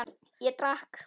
Ég drakk.